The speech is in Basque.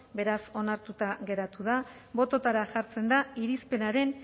beraz onartuta gelditu dira bototara jartzen da irizpenaren